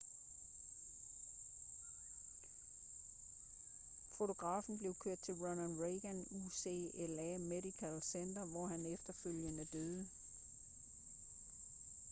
fotografen blev kørt til ronald reagan ucla medical center hvor han efterfølgende døde